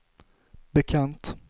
bekant